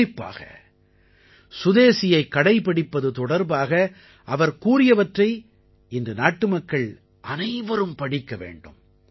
குறிப்பாக சுதேசியைக் கடைப்பிடிப்பது தொடர்பாக அவர் கூறியவற்றை இன்று நாட்டுமக்கள் அனைவரும் படிக்க வேண்டும்